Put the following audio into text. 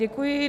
Děkuji.